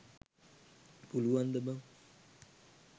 පුලුවන්ද බන්.